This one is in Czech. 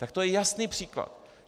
Tak to je jasný příklad.